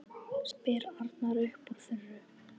spyr Arnar upp úr þurru.